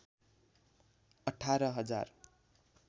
१८ हजार